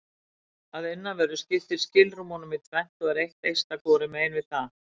Að innanverðu skiptir skilrúm honum í tvennt og er eitt eista hvorum megin við það.